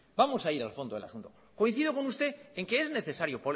vacío no mire vamos a ir a fondo del asunto coincido con usted en que es necesario